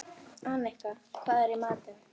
Annika, hvað er í matinn?